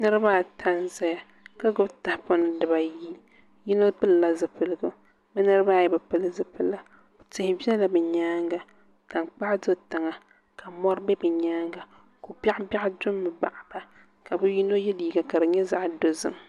Niraba ata n ʒɛya ka gbubi tahapona dibayi yino pilila zipiligu bi niraba ayi bi pili tihi biɛla bi nyaanga tankpaɣu do tiŋa ka mori bɛ bi nyaanga ko biɛɣu biɛɣu do ni gba ka bi ni yino yɛ liiga ka di nyɛ zaɣ dozim